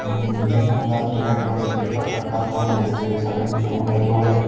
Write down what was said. अ एक मुलगा निळ्या कलर चा पेपर कट करताना दिसतोय सगळ्यांच्या समोर ह्या दोघा--